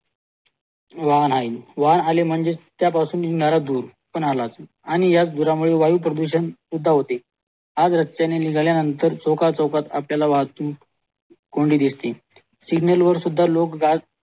वाहन आले म्हणजेच त्या धूर पण आलात आणि या धुरा मुळे प्रदूषण सुद्धा होते आज रस्ते ने निघाल्या नंतर चौकाचौकात आपल्याला वाहतूक कोंडी दिसतील सिग्नलवर सुद्धा लोक